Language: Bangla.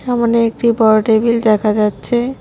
সামোনে একটি বড় টেবিল দেখা যাচ্ছে।